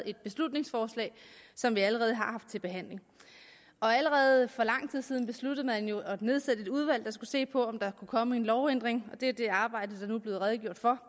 et beslutningsforslag som vi allerede har haft til behandling allerede for lang tid siden besluttede man jo at nedsætte et udvalg der skulle se på om der kunne komme en lovændring og det er det arbejde der nu er blevet redegjort for